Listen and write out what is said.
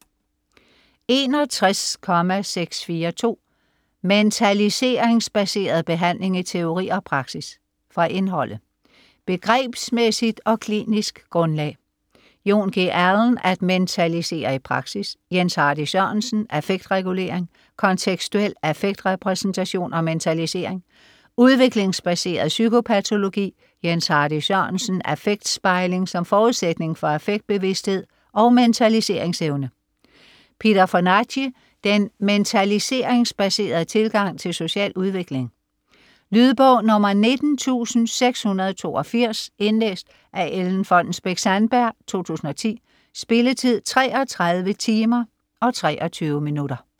61.642 Mentaliseringsbaseret behandling i teori og praksis Fra indholdet: Begrebsmæssigt og klinisk grundlag (Jon. G. Allen: At mentalisere i praksis. Jens Hardy Sørensen: Affektregulering, kontekstuel affektrepræsentation og mentalisering). Udviklingsbaseret psykopatologi (Jens Hardy Sørensen: Affektspejling som forudsætning for affektbevidsthed og mentaliseringsevne. Peter Fonagy: Den mentaliseringsbaserede tilgang til social udvikling. Lydbog 19682 Indlæst af Ellen Fonnesbech-Sandberg, 2010. Spilletid: 33 timer, 23 minutter.